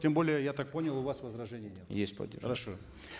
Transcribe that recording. тем более я так понял у вас возражений нет есть хорошо